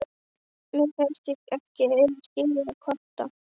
Mér finnst ég ekki eiga skilið að kvarta.